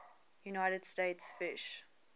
united states fish